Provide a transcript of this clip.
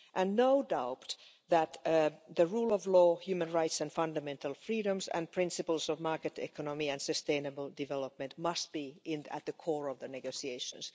There is no doubt that the rule of law, human rights and fundamental freedoms and principles of market economy and sustainable development must be at the core of the negotiations.